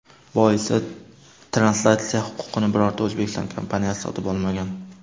Boisi translyatsiya huquqini birorta O‘zbekiston kompaniyasi sotib olmagan.